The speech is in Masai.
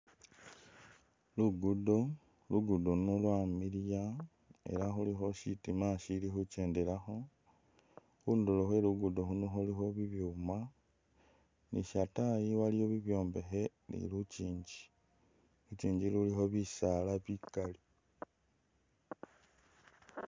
Lugudo lugudo luno lwamiliya ele khulikho shitima shilikhu’kyendelakho khunduro khwe lugudo luno lulikho bibuma nishatayi waliyo bibwombekhe ni lukyinji lukyinji lulikho bisala bikali .